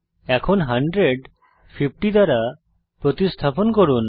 এখন 100 50 দ্বারা প্রতিস্থাপন করুন